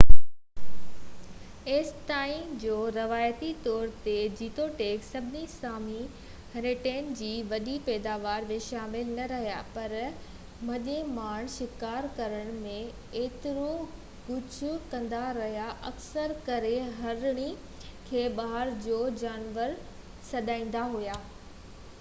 ايستائين جو روايتي طور تي جيتوڻيڪ سڀئي سامي هرڻين جي وڏي پيداوار ۾ شامل نه رهيا پر مڇي مارڻ شڪار ڪرڻ ۽ اهڙو ڪجهه ڪندا رهيا اڪثر ڪري هرڻي کي بهار جو جانور سڏيندا هئا